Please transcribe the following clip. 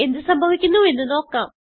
എന്ത് സംഭവിക്കുന്നുവെന്ന് നോക്കാം